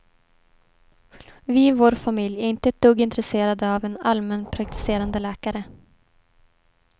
Vi i vår familj är inte ett dugg intresserade av en allmänpraktiserande läkare.